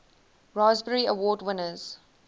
raspberry award winners